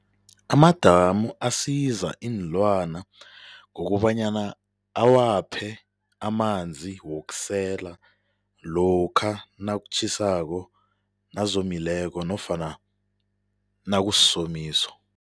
Amadamu asiza iinlwana ngokobanyana awaphe amanzi wokusela lokha nakutjhisako nazomileko nofana nakusisomiso.